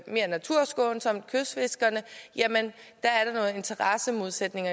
naturskånsomt som kystfiskerne har en interessemodsætning